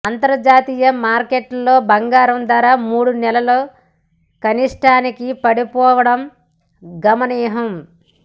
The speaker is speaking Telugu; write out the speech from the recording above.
అంతర్జాతీయ మార్కెట్లో బంగారం ధర మూడు నెలల కనిష్టానికి పడిపోవడం గమనార్హం